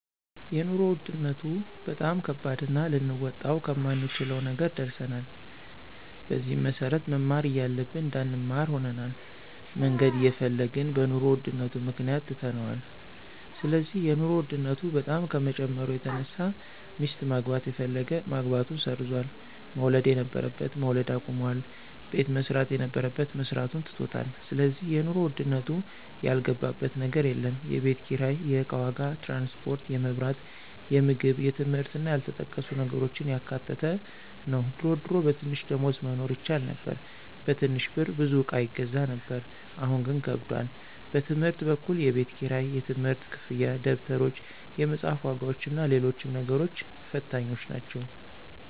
የኑሮ ውድነቱ በጣም ከባድና ልንወጣው ከማንችለው ነገር ደርሰናል። በዚህም መሰረት መማር እያለብን እንዳንማር ሆነናል፣ መነገድ እየፈለግን በኑሮ ውድነቱ ምክንያት ትተነዋል ስለዚህ የኑሮ ውድነቱ በጣም ከመጨመሩ የተነሳ ሚስት ማግባት የፈለገ ማግባቱን ሰርዟል፣ መውለድ የነበረበት መውለድ አቁሟል፣ ቤት መስራት የነበረበት መስራቱን ትቶታል ስለዚህ የኑሮ ውድነቱ ያልገባበት ነገር የለም፣ የቤት ኪራይ፣ የእቃ ዋጋ፣ ትራንስፖርት፣ የመብራት፣ የምግብ የትምህርት እና ያልተጠቀሱ ነገሮችን ያካተተ ነው ድሮ ድሮ በትንሽ ደሞዝ መኖር ይቻል ነበር በትንሽ ብር ብዙ እቃ ይገዛ ነበር አሁን ግን ከብዷል። በትምህርት በኩል የቤት ክራይ፣ የትምህርት ክፍያ፣ ደብተሮች፣ የመፅሐፍ ዋጋዎችና ሎሎችም ነገሮች ፈታኞች ናቸው።